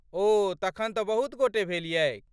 ओ , तखन तँ बहुत गोटे भेलियैक।